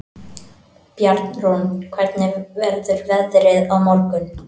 Bjarnrún, hvernig verður veðrið á morgun?